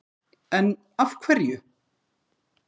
En af hverju?!